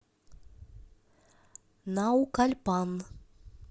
наукальпан